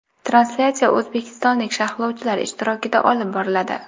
Translyatsiya o‘zbekistonlik sharhlovchilar ishtirokida olib boriladi.